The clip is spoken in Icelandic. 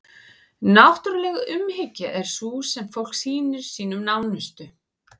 náttúruleg umhyggja er sú sem fólk sýnir sínum nánustu